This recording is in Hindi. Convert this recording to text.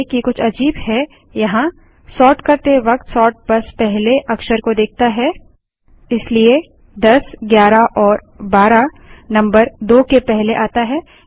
ध्यान दें कि कुछ अजीब है यहाँसोर्ट करते वक्त सोर्ट बस पहले अक्षर को देखता हैइसलिए 1011एएमपी12 नम्बर 2 के पहले आता है